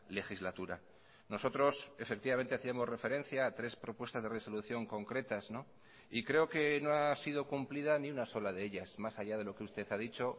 legislatura nosotros efectivamente hacíamos referencia a tres propuestas de resolución concretas y creo que no ha sido cumplida ni una sola de ellas más allá de lo que usted ha dicho